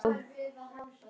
Þú ert ekkert að ónáða mig.